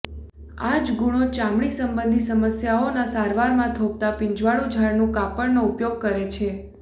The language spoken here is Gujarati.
આ જ ગુણો ચામડી સંબંધી સમસ્યાઓના સારવારમાં થોભતા પીંજવાળું ઝાડનું કાપડનો ઉપયોગ કરે છે